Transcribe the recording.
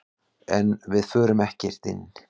En við fórum ekkert inn.